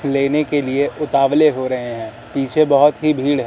लेने के लिए उतावले हो रहे हैं पीछे बहोत ही भीड़ है।